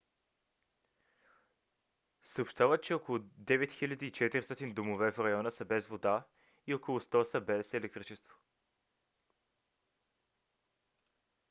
съобщават че около 9400 домове в района са без вода и около 100 са без електричество